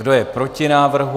Kdo je proti návrhu?